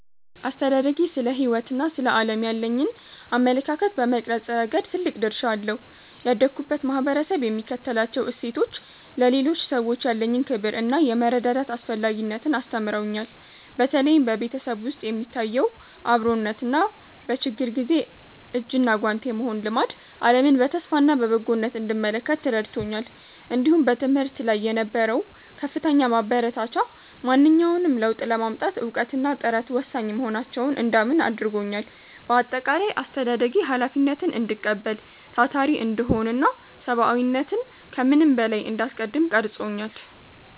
አስተዳደጌ ስለ ሕይወትና ስለ ዓለም ያለኝን አመለካከት በመቅረጽ ረገድ ትልቅ ድርሻ አለው። ያደግሁበት ማኅበረሰብ የሚከተላቸው እሴቶች፣ ለሌሎች ሰዎች ያለኝን ክብርና የመረዳዳት አስፈላጊነትን አስተምረውኛል። በተለይም በቤተሰብ ውስጥ የሚታየው አብሮነትና በችግር ጊዜ እጅና ጓንት የመሆን ልማድ፣ ዓለምን በተስፋና በበጎነት እንድመለከት ረድቶኛል። እንዲሁም በትምህርት ላይ የነበረው ከፍተኛ ማበረታቻ፣ ማንኛውንም ለውጥ ለማምጣት እውቀትና ጥረት ወሳኝ መሆናቸውን እንዳምን አድርጎኛል። በአጠቃላይ፣ አስተዳደጌ ኃላፊነትን እንድቀበል፣ ታታሪ እንድሆንና ሰብዓዊነትን ከምንም በላይ እንዳስቀድም ቀርጾኛል።